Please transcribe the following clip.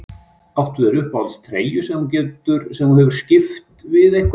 Áttu þér uppáhalds treyju sem þú hefur skipt við einhvern?